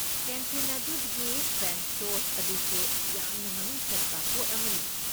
Canteen ꯑꯗꯨꯒꯤ French toast ꯑꯗꯨꯁꯨ ꯌꯥꯝꯅ ꯃꯃꯤꯡ ꯆꯠꯄ ꯄꯣꯠ ꯑꯃꯅꯤ꯫